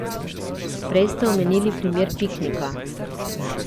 Prej ste omenili primer piknika.